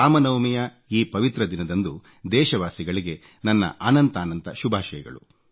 ರಾಮನವಮಿಯ ಈ ಪವಿತ್ರ ದಿನಂದಂದು ದೇಶವಾಸಿಗಳಿಗೆ ನನ್ನ ಅನಂತಾನಂತ ಶುಭಾಷಯಗಳು